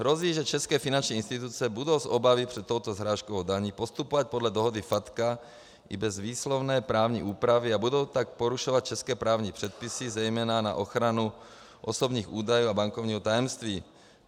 Hrozí, že české finanční instituce budou z obavy před touto srážkovou daní postupovat podle dohody FATCA i bez výslovné právní úpravy a budou tak porušovat české právní předpisy, zejména na ochranu osobních údajů a bankovního tajemství.